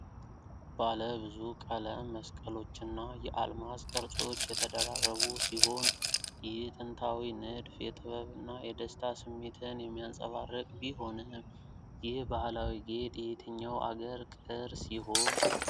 ባለ ብዙ ቀለም መስቀሎችና የአልማዝ ቅርፆች የተደራረቡ ሲሆን፣ ይህ ጥንታዊ ንድፍ የጥበብና የደስታ ስሜትን የሚያንፀባርቅ ቢሆንም፣ ይህ ባህላዊ ጌጥ የየትኛው አገር ቅርስ ይሆን?